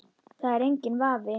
Það er enginn vafi.